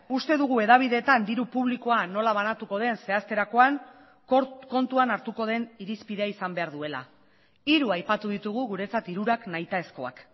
uste dugu hedabideetan diru publikoa nola banatuko den zehazterakoan kontuan hartuko den irizpidea izan behar duela hiru aipatu ditugu guretzat hirurak nahitaezkoak